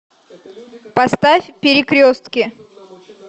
поставь перекрестки